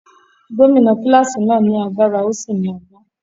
Gómìnà kíláàsì náà lágbára ó sì ní ọgbọ́n.